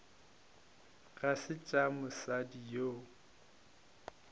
ga se tša mosadi yo